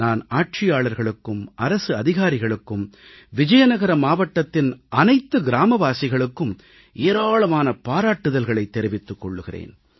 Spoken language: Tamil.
நான் ஆட்சியாளர்களுக்கும் அரசு அதிகாரிகளுக்கும் விஜயநகர மாவட்டத்தின் அனைத்து கிராமவாசிகளுக்கும் ஏராளமான பாராட்டுதல்களைத் தெரிவித்துக் கொள்கிறேன்